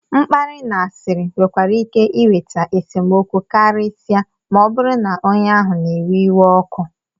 mkparị na asịrị nwekwara ike iweta esemokwu karịsịa ma ọ bụrụ na onye ahụ na-ewe iwe ọkụ